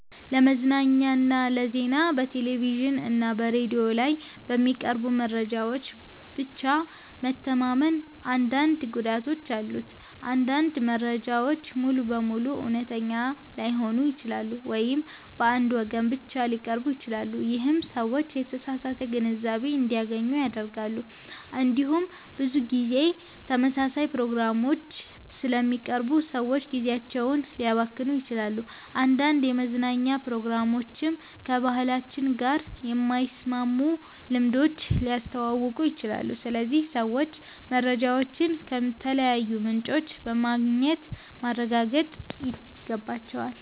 ለመዝናኛና ለዜና በቴሌቪዥን እና በሬዲዮ ላይ በሚቀርቡ መረጃዎች ብቻ መተማመን አንዳንድ ጉዳቶች አሉት። አንዳንድ መረጃዎች ሙሉ በሙሉ እውነተኛ ላይሆኑ ይችላሉ ወይም በአንድ ወገን ብቻ ሊቀርቡ ይችላሉ። ይህም ሰዎች የተሳሳተ ግንዛቤ እንዲያገኙ ያደርጋል። እንዲሁም ብዙ ጊዜ ተመሳሳይ ፕሮግራሞች ስለሚቀርቡ ሰዎች ጊዜያቸውን ሊያባክኑ ይችላሉ። አንዳንድ የመዝናኛ ፕሮግራሞችም ከባህላችን ጋር የማይስማሙ ልምዶችን ሊያስተዋውቁ ይችላሉ። ስለዚህ ሰዎች መረጃዎችን ከተለያዩ ምንጮች በማግኘት ማረጋገጥ ይገባቸዋል።